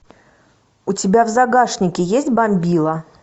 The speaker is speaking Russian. у тебя в загашнике есть бомбила